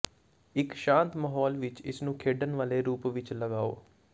ਇਕ ਸ਼ਾਂਤ ਮਾਹੌਲ ਵਿਚ ਇਸ ਨੂੰ ਖੇਡਣ ਵਾਲੇ ਰੂਪ ਵਿਚ ਲਗਾਓ